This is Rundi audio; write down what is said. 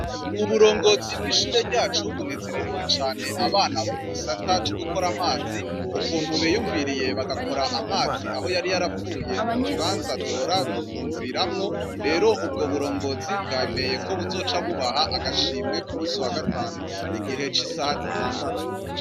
Uburongozi bw’ishuri ryacu bunezererewe cane abana bo mugisata co gukora amazi, ukuntu biyumviriye bagakora amazi aho yari yarapfuye mukibanza duhora dufunguriramwo, rero ubwo burongozi bwemeye ko buzoca bubaha agashimwe kumusi wa gatanu igihe c’isaha zitandatu.